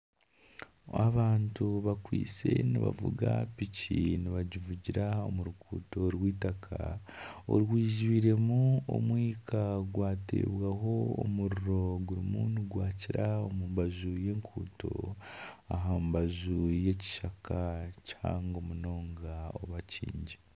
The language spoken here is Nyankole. Abantu bakwaitse nibavuga piki nibagivugira aha ruguuto rw'eitaka orwijwiremu omwika gwatirweho omuriro gurimu nigwakira omu mbaju y'oruguuto aha mbaju y'ekishaka kihango munonga oba kyingi.